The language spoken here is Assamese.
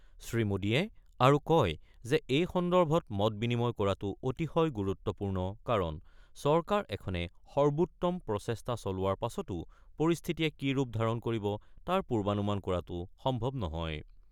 শ্ৰীমোদীয়ে আৰু কয় যে এই সন্দৰ্ভত মত বিনিময় কৰাটো অতিশয় গুৰুত্বপূৰ্ণ কাৰণ চৰকাৰএখনে সৰ্বোত্তম প্ৰচেষ্টা চলোৱা পাছতো পৰিস্থিতিয়ে কি ৰূপ ধাৰণ কৰিব তাৰ পূৰ্বানুমান কৰাটো সম্ভৱ নহয়।